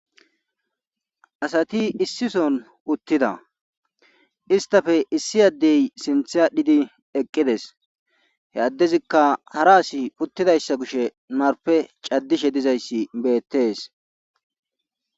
asati issi son uttida istappe issi addey sinthe adhdhidi eqqides he addezikka hara asi uttidayssa kushe narpe caddishe dizayssi beettees